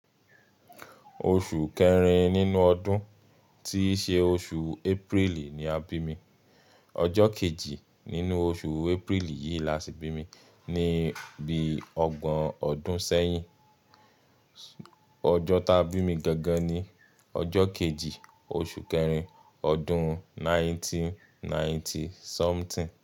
Oṣù kẹrin nínú ọdún tíí ṣe oṣù April ni a bí mi. Ọjọ kejì nínú oṣù April yìí la ti bí mi ni ibi ọgbọ̀n ọdún sẹ́yìn. Ọjọ tí a bí mi gangan ni ọjọ kejì, oṣù kẹrin, ọdún ninety ninety something.